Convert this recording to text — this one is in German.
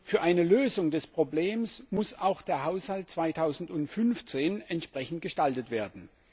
Für eine Lösung des Problems muss auch der Haushalt 2015 entsprechend gestaltet werden.